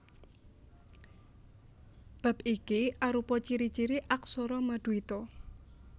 Bab iki arupa ciri ciri aksara maduita